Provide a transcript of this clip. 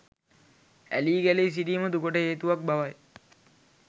ඇලී ගැලී සිටීම දුකට හේතුවක් බවයි.